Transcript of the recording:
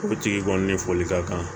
Forotigi kɔni ne fɔli ka kan